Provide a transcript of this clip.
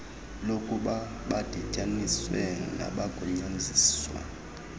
lokuba badityaniswe nabagunyaziswa